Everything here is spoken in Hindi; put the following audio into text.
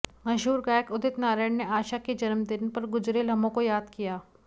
मशहूर गायक उदित नारायण ने आशा के जन्मदिन पर गुजरे लम्हों को याद किया